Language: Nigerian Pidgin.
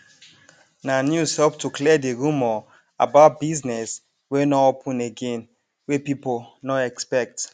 na news help to clear di rumour about business wey nor open again wey pipo nor expect